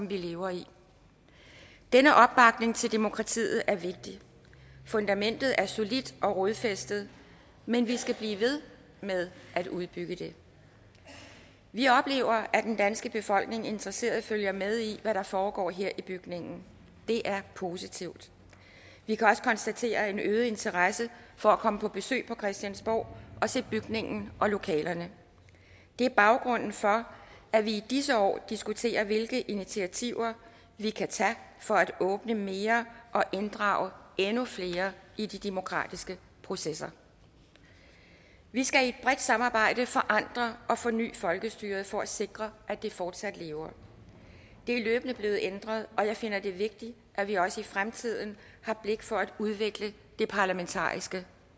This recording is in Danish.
vi lever i denne opbakning til demokratiet er vigtig fundamentet er solidt og rodfæstet men vi skal blive ved med at udbygge det vi oplever at den danske befolkning interesseret følger med i hvad der foregår her i bygningen det er positivt vi kan også konstatere en øget interesse for at komme på besøg på christiansborg og se bygningen og lokalerne det er baggrunden for at vi i disse år diskuterer hvilke initiativer vi kan tage for at åbne mere og inddrage endnu flere i de demokratiske processer vi skal i et samarbejde forandre og forny folkestyret for at sikre at det fortsat lever det er løbende blevet ændret og jeg finder det vigtigt at vi også i fremtiden har blik for at udvikle det parlamentariske